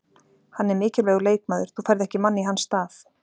Hann er mikilvægur leikmaður, þú færð ekki mann í hans stað: